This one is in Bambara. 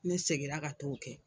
Ne segin na ka t'o kɛ.